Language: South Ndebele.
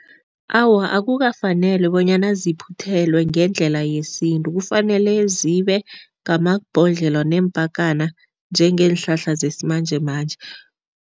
Awa, akukafaneli bonyana ziphuthelwe ngendlela yesintu. Kufanele zibe ngamabhodlelo neempakana njengeenhlahla zesimanjemanje.